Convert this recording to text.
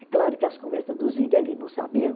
É claro que as conversas dos índios eles não sabiam.